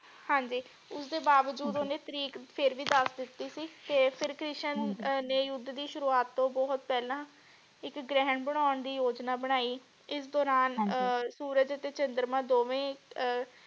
ਹਾਂਜੀ ਉਸਦੇ ਬਾਵਜੂਦ ਓਨੇ ਤਾਰੀਕ ਫੇਰ ਵੀ ਦਸ ਦਿਤੀ ਸੀ ਫੇਰ ਕ੍ਰਿਸ਼ਨ ਹਾਂਜੀ ਨੇ ਯੁੱਧ ਦੀ ਸ਼ੁਰੂਵਾਤ ਤੋਂ ਬਹੁਤ ਪਹਿਲਾ ਇਕ ਗ੍ਰਹਿਣ ਬਣਾਉਣ ਦੀ ਯੋਜਨਾ ਬਣਾਈ ਇਸ ਦੁਰਾਨ ਅਹ ਹਾਂਜੀ ਸੂਰਜ ਅਤੇ ਚੰਦਰਮਾ ਦੋਵੇ ਅਹ